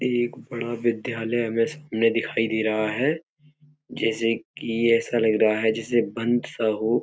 एक बड़ा विद्यालय वेस्ट में दिखाई दे रहा है। जैसे कि ऐसा लग रहा है जैसे बंद सा हो।